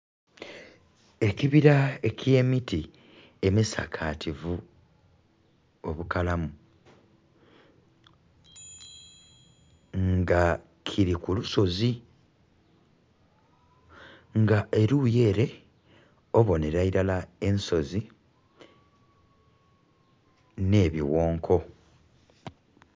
Ekibira ekyemiti emisakativu obukalamu nga kiri kulusozi nga eruyi ere obonera irala ensozi nhe bighonko